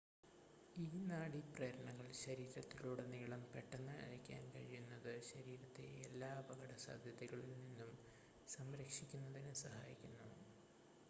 ഈ നാഡി പ്രേരണകൾ ശരീരത്തിലുടനീളം പെട്ടെന്ന് അയക്കാൻ കഴിയുന്നത് ശരീരത്തെ എല്ലാ അപകട സാധ്യതകളിൽ നിന്നും സംരക്ഷിക്കുന്നതിന് സഹായിക്കുന്നു